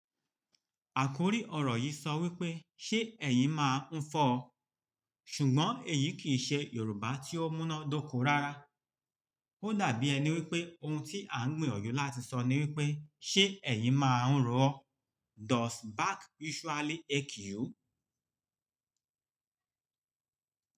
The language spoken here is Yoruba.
Àkórí ọ̀rọ̀ yìí sọ wípé "Ṣé ẹ̀yin máa ń fọ́ ọ?" ṣùgbọ́n èyí kì í ṣe Yorùbá tí ó múná dóko rárá. Ó dàbí ẹni wípé ohun tí à ń gbìyànjú láti sọ ni wípé "Ṣé ẹ̀yin máa ń ro ọ?" Does back usually ache you?